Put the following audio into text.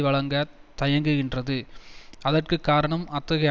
வழங்க தயங்குகின்றது அதற்கு காரணம் அத்தகைய